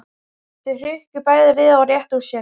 Þau hrukku bæði við og réttu úr sér.